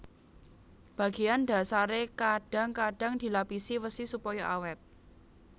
Bagéan dhasaré kadhang kadhang dilapisi wesi supaya awèt